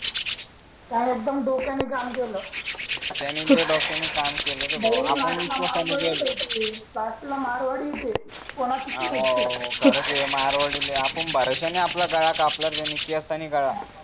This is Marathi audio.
त्यानी एकदम डोक्यानी काम केल त्यांनी तर डोक्यांनी काम केल रे बाबा कास्टला मारवाडी ते कोणाचच नाही होत ते हो खरच ते मारवाडीले आपण भरोसा नाही आपला गळा कापला त्यांनी कि असतांनी गळा